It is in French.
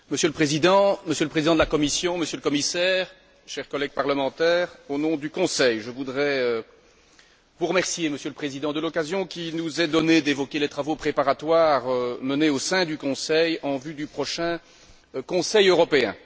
Monsieur le Président, Monsieur le Président de la Commission, Monsieur le Commissaire, chers collègues parlementaires, au nom du Conseil, je voudrais vous remercier, Monsieur le Président, de l'occasion qui nous est donnée d'évoquer les travaux préparatoires menés au sein du Conseil en vue du prochain Conseil Européen.